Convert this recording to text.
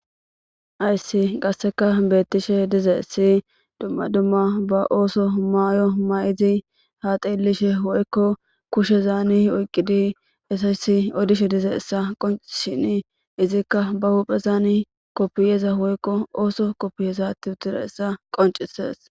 Ayssi qasseka beettishe dize si dumma dumma ba ooso maayo ma'idi ha xeelishe woykko kushe zaani oyqqidi esayssi odishe dize essa qoncishini izikka ba huphezaani koppiyeza woykko ooso koppiye zatti uttida essa qoncisees